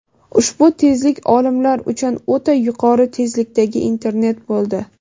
Ushbu tezlik olimlar uchun o‘ta yuqori tezlikdagi internet bo‘ldi.